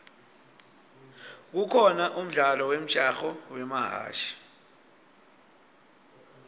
kukhona umdlalo wemjaho wamahashi